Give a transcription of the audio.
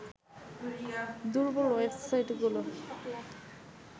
দুর্বল ওয়েবসাইটগুলো